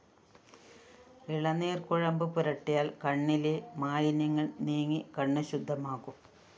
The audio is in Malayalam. ഇളനീര്‍ കുഴമ്പ് പുരട്ടിയാല്‍ കണ്ണിലെ മാലിന്യങ്ങള്‍ നീങ്ങി കണ്ണ് ശുദ്ധമാകും